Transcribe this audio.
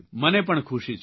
મને પણ ખુશી છે